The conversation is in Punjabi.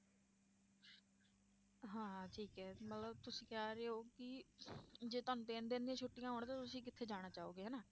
ਹਾਂ ਠੀਕ ਹੈ ਮਤਲਬ ਤੁਸੀਂ ਕਹਿ ਰਹੇ ਹੋ ਕਿ ਜੇ ਤੁਹਾਨੂੰ ਤਿੰਨ ਦਿਨ ਦੀਆਂ ਛੁੱਟੀਆਂ ਹੋਣ ਤੇ ਤੁਸੀਂ ਕਿੱਥੇ ਜਾਣਾ ਚਾਹੋਗੇ ਹਨਾ।